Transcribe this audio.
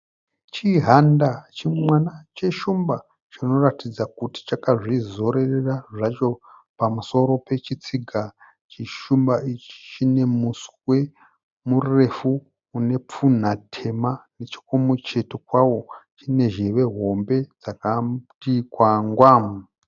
Chihanda chimwana cheshumba chinoratidza kutí chakazvirorera zvacho pamusoro pechitsiga. Chishumba ichi chine muswe murefu une pfunha tema. Nechokumucheto kwao chine zheve hombe dzakati kwangwa.